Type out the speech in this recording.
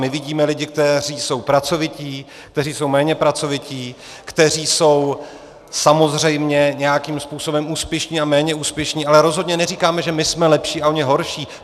My vidíme lidi, kteří jsou pracovití, kteří jsou méně pracovití, kteří jsou samozřejmě nějakým způsobem úspěšní a méně úspěšní, ale rozhodně neříkáme, že my jsme lepší a oni horší.